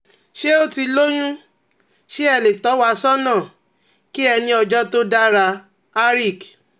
Ṣe o ti l'oyun? Ṣe e le to wa sona? Ki e ni ojo to dara, Harik